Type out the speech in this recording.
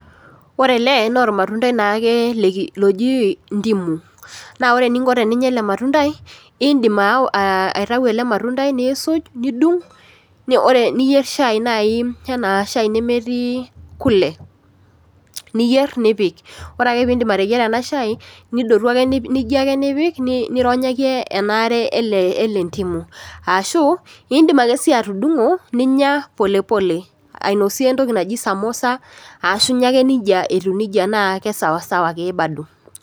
Ore ele naa ormatundai naake loji ndimu naa ore eninko teninya ele matundai indim aa aitau elematundai nisuj , nidung or, niyier naji shai anaa shai nemetii kule , niyier nipik , ore ake pindip ateyiera ena shai nidotu ake , nijia ake nipik nironyaki ena aare ele, ele elendimu . Ashu indim akesi atudungo ninya pole pole ainosie entoki naji samosa ashu inya ake etiu neji naa kesawasawa ake bado.